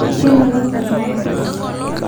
Kemelok irmaembe